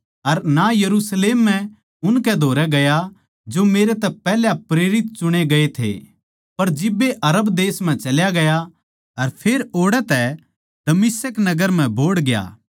अर ना यरुशलेम म्ह उनकै धोरै ग्या जो मेरै तै पैहल्या प्रेरित चुणे गये थे पर जिब्बे अरब देश म्ह चल्या गया अर फेर ओड़ै तै दमिश्क नगर म्ह बोहड़ ग्या